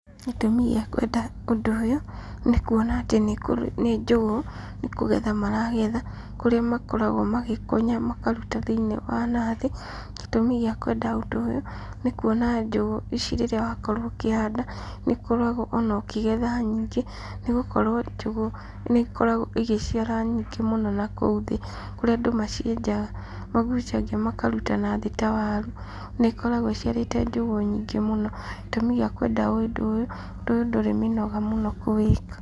Gĩtũmi gĩa kwenda ũndũ ũyũ, nĩ kuona atĩ nĩ njũgũ, nĩ kũgetha maragetha, kũrĩa makoragwo magĩkonya makaruta thĩinĩ wa nathĩ, gĩtũmi gĩa kwenda ũndũ ũyũ, nĩ kuona njũgũ ici rĩrĩa wakorwo ũkĩhanda, nĩũkoragwo ona ũkĩgetha nyingĩ, nĩgũkorwo njũgũ nĩ ikoragwo igĩciara nyingĩ mũno nakũu thĩ, kũrĩa andũ macienjaga magucagia makaruta thĩ ta waru, nĩ ikoragwo iciarĩte njũgũ nyingĩ mũno, gĩtũmi gĩa kwenda ũndũ ũyũ, ũndũ ũyũ ndũrĩ mĩnoga mũno kũwĩka.